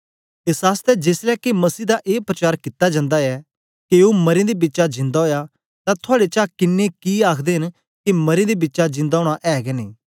एस आसतै जेसलै के मसीह दा ए प्रचार कित्ता जंदा ऐ के ओ मरें दे बिचा जिंदा ओया तां थुआड़े चा किन्नें कि आखदे न के मरें दे बिचा जिंदा ओना ऐ गै नेई